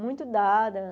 muito dada.